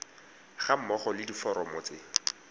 ga mmogo le diforomo tse